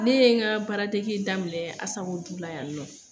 Ne ye n ka baaradege daminɛ la yannɔ.